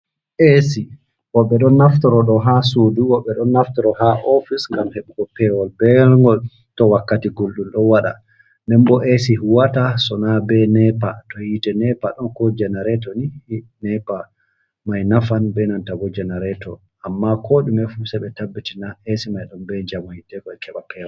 Esi bo ɓe don naftoro do ha sudu bo ɓe don naftoro ha ofice ngam heɓugo pewol bewelngol to wakkati guldul do waɗa nden bo esi huwata sona be nepa to yite nepa ɗon ko jenarato ni nepa mai nafan be nntab jenareto amma ko dume fu seɓe tabbitina es mai ɗonbe jamaiteo bewol.